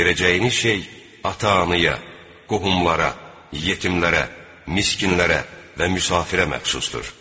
Verəcəyiniz şey ata-anaya, qohumlara, yetimlərə, miskinlərə və müsafirə məxsusdur.